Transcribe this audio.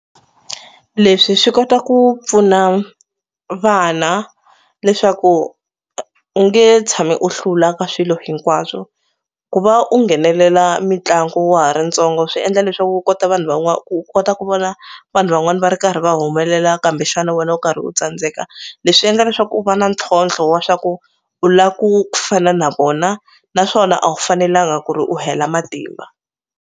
Leswi swi kota ku pfuna vana leswaku u nge tshami u hlula ka swilo hinkwaswo ku va u nghenelela mitlangu wa ha ri ntsongo swi endla leswaku u kota vanhu van'wani u kota ku vona vanhu van'wani va ri karhi va humelela kambe xana wena u karhi u tsandzeka leswi endla leswaku u va na ntlhontlho wa swa ku u la ku fana na vona naswona a wu fanelanga ku ri u hela matimba.